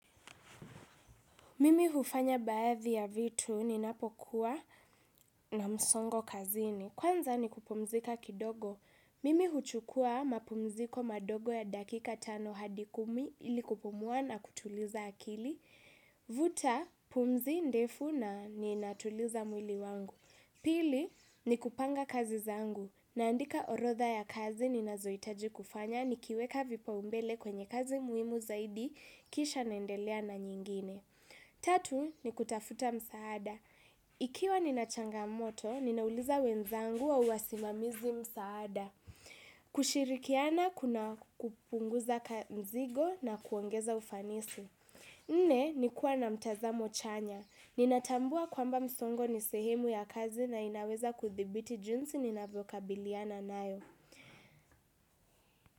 Mimi hufanya baadhi ya vitu ninapokuwa na msongo kazini. Kwanza ni kupumzika kidogo. Mimi huchukua mapumziko madogo ya dakika tano hadi kumi ili kupumua na kutuliza akili. Vuta, pumzi ndefu na ninatuliza mwili wangu. Pili, ni kupanga kazi zangu. Naandika orodha ya kazi ninazohitaji kufanya. Nikiweka vipaumbele kwenye kazi muhimu zaidi kisha naendelea na nyingine. Tatu ni kutafuta msaada. Ikiwa nina changamoto, ninauliza wenzangu au wasimamizi msaada. Kushirikiana kuna kupunguza mzigo na kuongeza ufanisi. Nne ni kuwa na mtazamo chanya. Ninatambua kwamba msongo ni sehemu ya kazi na inaweza kudhibiti jinsi ninavokabiliana nayo.